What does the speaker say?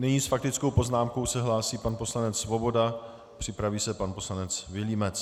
Nyní s faktickou poznámkou se hlásí pan poslanec Svoboda, připraví se pan poslanec Vilímec.